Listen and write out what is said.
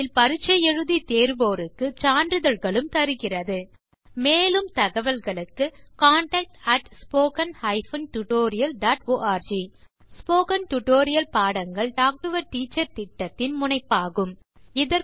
இணையத்தில் பரிட்சை எழுதி தேர்வோருக்கு சான்றிதழ்களும் தருகிறது மேலும் தகவல்களுக்கு contactspoken tutorialorg ஸ்போகன் டுடோரியல் பாடங்கள் டாக் டு எ டீச்சர் திட்டத்தின் முனைப்பாகும்